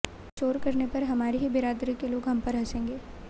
शोर करने पर हमारी ही बिरादरी के लोग हम पर हंसेंगे